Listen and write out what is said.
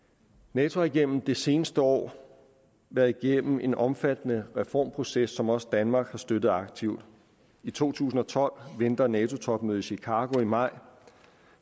nato har igennem det seneste år været igennem en omfattende reformproces som også danmark har støttet aktivt i to tusind og tolv venter nato topmødet i chicago i maj